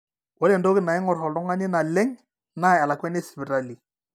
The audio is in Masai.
ore entoki naing'or oltung'ani naleng naa elakuani esipitali